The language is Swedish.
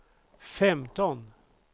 femton